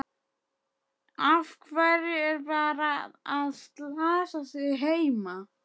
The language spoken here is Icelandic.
Af hverju er barnið að slasa sig heima?